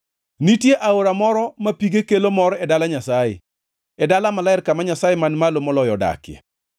Nitie aora moro ma pige kelo mor e dala Nyasaye, e dala maler kama Nyasaye Man Malo Moloyo odakie.